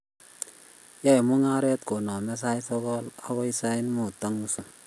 yoe mung'aret koname sait sokol agoi sait mut ak nusu